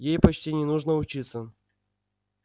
ей почти не нужно учиться